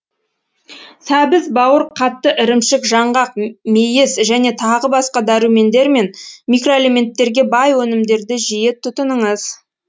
сәбіз бауыр қатты ірімшік жаңғақ мейіз және тағы басқа дәрумендер мен микроэлементтерге бай өнімдерді жиі тұтыныңыз